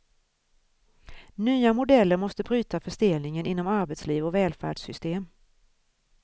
Nya modeller måste bryta förstelningen inom arbetsliv och välfärdssystem.